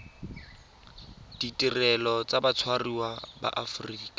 ditirelo tsa batshwariwa ba aforika